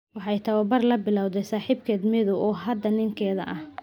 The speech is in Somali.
Waxay tababar la bilowday saaxiibkeed Mathew Kosgei, oo hadda ninkeeda ah.